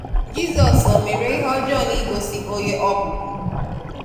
Jizọs o mere ihe ọjọọ n'igosị onye ọ bụ bu?